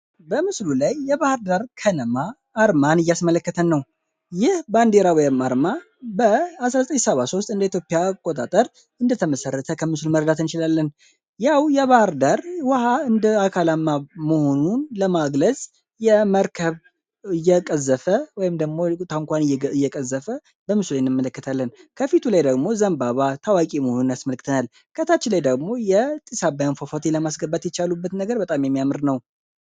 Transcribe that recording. በምስሉ ላይ የባህር ዳር ከነማ አርማን እያስመለከተን ነው ይህ በንዴራ ወም አርማ በ 1973 እንደ ኢትዮፒያ ቆጣጠር እንደተመሠረተ ከምሱል መርዳትንይችላለን ያው የባህርዳር ውሃ እንደ አካላማ መሆኑን ለማዕግለዝ የመርከብ እየቀዘፈ ታንኳን እየቀዘፈ በምስሉ ይንመለከታለን ከፊቱ ላይ ደግሞ ዘንባባ ታዋቂ መሆኑን ያስመለክተናል ከታች ላይ ደግሞ የጢሳባያን ፏፋቴ ለማስገባት ይቻሉበት ነገር በጣም የሚያምር ነው